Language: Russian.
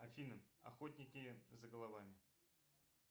афина охотники за головами